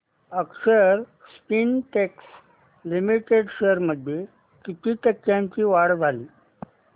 अक्षर Spintex limited shares मध्ये किती टक्क्यांची वाढ झाली